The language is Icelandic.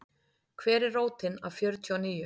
Hver er rótin af fjörtíu og níu?